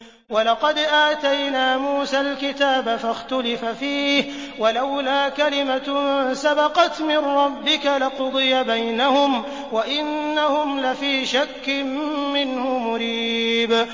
وَلَقَدْ آتَيْنَا مُوسَى الْكِتَابَ فَاخْتُلِفَ فِيهِ ۗ وَلَوْلَا كَلِمَةٌ سَبَقَتْ مِن رَّبِّكَ لَقُضِيَ بَيْنَهُمْ ۚ وَإِنَّهُمْ لَفِي شَكٍّ مِّنْهُ مُرِيبٍ